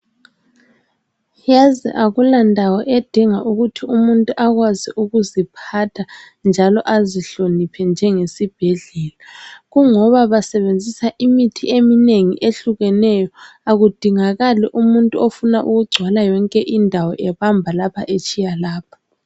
Yaz akulandawo edinga ukuthi umuntu akwazi ukuziphatha njalo azihloniphe njengesibhedlela kungoba basebenziaa imithi eminengi ehlukeneyo akudingakali umuntu ofuna ukugcwala yonke indawo ebamba lapha etshiya lapha